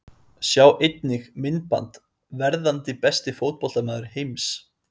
Sjá einnig: Myndband: Verðandi besti fótboltamaður heims?